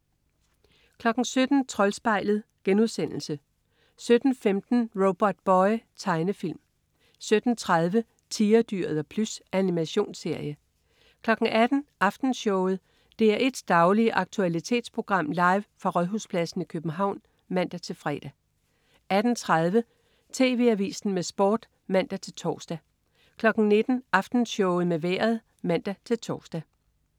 17.00 Troldspejlet* 17.15 Robotboy. Tegnefilm 17.30 Tigerdyret og Plys. Animationsserie 18.00 Aftenshowet. DR1s daglige aktualitetsprogram, live fra Rådhuspladsen i København (man-fre) 18.30 TV Avisen med Sport (man-tors) 19.00 Aftenshowet med Vejret (man-tors)